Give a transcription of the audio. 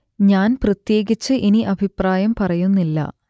ഞാൻ പ്രത്യേകിച്ച് ഇനി അഭിപ്രായം പറയുന്നില്ല